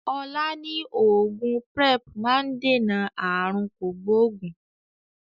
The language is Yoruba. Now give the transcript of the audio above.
Ọlá ni oògùn Prep máa ń dènà aàrùn kògbógùn